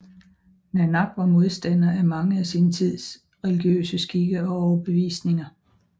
Nanak var modstander af mange af sin tids religiøse skikke og overbevisninger